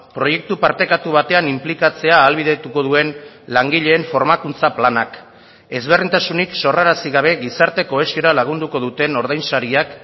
proiektu partekatu batean inplikatzea ahalbidetuko duen langileen formakuntza planak ezberdintasunik sorrarazi gabe gizarte kohesiora lagunduko duten ordainsariak